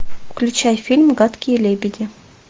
включай фильм гадкие лебеди